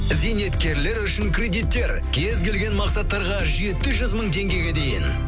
зейнеткерлер үшін кредиттер кез келген мақсаттарға жеті жүз мың теңгеге дейін